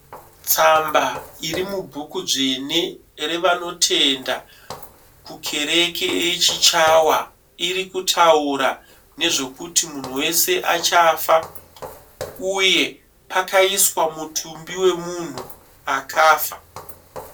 Tsamba iri mubhuku dzvene yevanotenda kukereke ye Chichawa. Iri kutaura nezvekuti munhu wese achafa uye pakaiswa mutumbi wemunhu akafa.